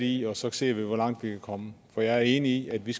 i og så ser vi hvor langt vi kan komme for jeg er enig i at vi